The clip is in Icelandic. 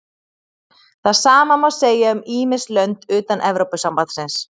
það sama má segja um ýmis lönd utan evrópusambandsins